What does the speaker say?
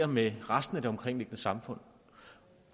med resten af det omkringliggende samfund